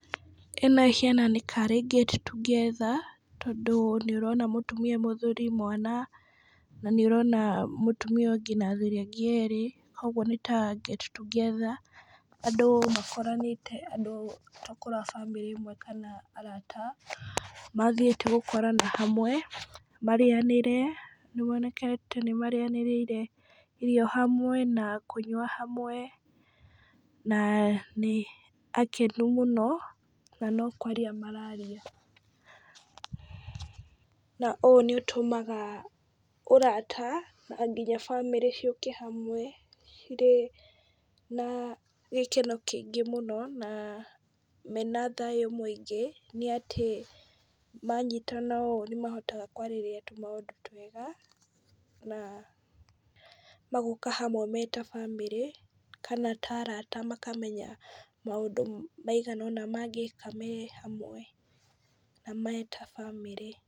Ĩno ĩhiana nĩ tarĩ get together, tondũ nĩ ũrona mũtumia, mũthuri , mwana , na nĩ ũrona mũtumia ũngĩ , na athuri angĩ erĩ, kũgwo nĩ tarĩ get together , andũ makoranĩte andũ tokorwo a bamĩrĩ ĩmwe , kana arata, mathiĩte gũkorana hamwe , marĩanĩre nĩkwonekete nĩ marĩanĩire irio hamwe na kũnyua hamwe ,na nĩ akenu mũno, na no kwaria mararia, na ũũ nĩ ũtũmaga ũrata nginya bamĩrĩ ciũke hamwe, cirĩ na gĩkeno kĩingĩ mũno , na mena thayu mũingĩ, nĩ atĩ manyitana ũũ nĩmahotaga kwarĩrĩria tũmaũndũ twega, na magoka hamwe meta bamĩrĩ , kana ta arata makamenya maũndũ maigana ona mangĩĩka me hamwe, na me ta bamĩrĩ.